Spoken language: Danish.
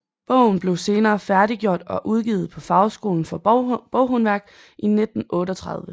Bogen blev senere færdiggjort og udgivet på Fagskolen for Boghåndværk i 1938